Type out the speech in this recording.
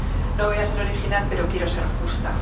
No voy a ser original, pero quiero ser justa.